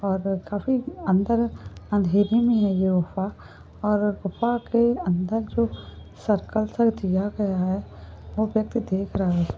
और काफी अंदर अँधेरी में है। यह गुफा और गुफा के अंदर जो सर्कल सा दिया गया है वो व्यक्ति देख रहा हैं।